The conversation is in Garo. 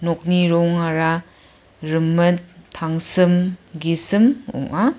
rongara rimit tangsim gisim ong·a.